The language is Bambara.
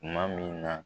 Tuma min na